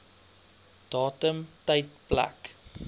datum tyd plek